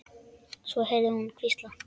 Svo heyrði ég þau hvísla.